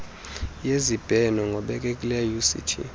yezibheno ngobekekileyo uct